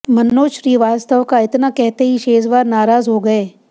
मनोज श्रीवास्तव का इतना कहते ही शेजवार नाराज हो गए